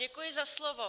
Děkuji za slovo.